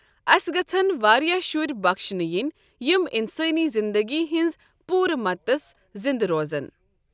اَسہِ گژھن واریاہ شُرۍ بخشنہٕ ینۍ یِم انسٲنی زندگی ہنٛز پورٕ مدتَس زنٛدٕ روزَن۔